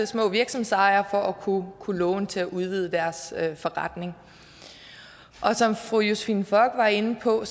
små virksomhedsejere at kunne låne til at udvide deres forretning som fru josephine fock var inde på